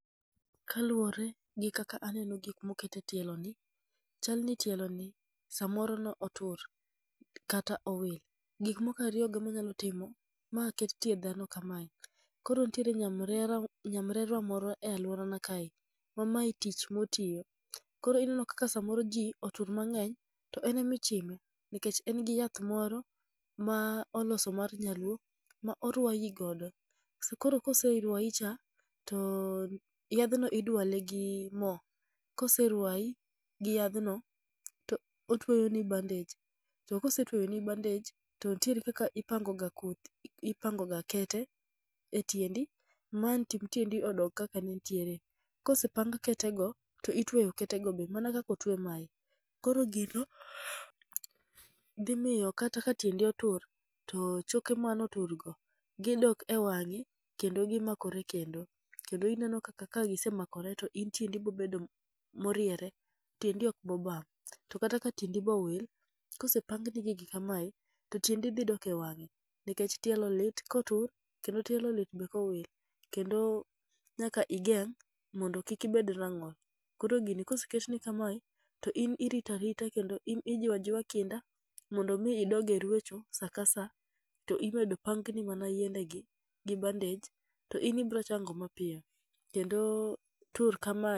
Kaluwore gi kaka aneno gik mokete tielo ni, chalni tielo ni samoro no otur kata owil. Gik mokariyo go ema nyalo timo ma ket tie dhano kamae. Koro nitiere nyamrera nyamrerwa moro e alworanan kae, ma mae tich motiyo. Koro ineno kaka samoro iyudo ni ji otur mang'eny to en emichime, nikech en gi yath moro ma oloso mar nyaluo ma orwayi godo. Koro koserwayi cha, to yadhno idwale gi mo, koserwayi gi yadhno to otweyoni bandej. To kosetweyoni bandej, to nitiere kaka ipangoga kodhi ipangoga kete e tiendi ma ang' ting' tiendi odog kaka ne ntiere. Kosepang kete go to itweyo ketego be mana kaka otwe mae. Koro gino dhi miyo kata ka tiendi otur to choke manotur go gidok e wang'e kendo gimakore kendo. Kendo ineno kaka ka gisemakore to in tiendi bo bedo mo moriere, tiendi ok bobam. To kata ka tiendi bowil, kosepangni gigi kamae to tiendi dhi dok e wang'e. Nekech tielo lit kotur, kendo tielo lit be kowil. Kendo nyaka igeng' mondo kik ibed rang'ol. Koro gini koseketni kamae, to in iritarita kendo ijiwa jiwa kinda mondo mi idog e rwecho sa ka sa. To imedo pangni mana yiende gi gi bandej to in ibro chango mapiyo, kendo tur kama.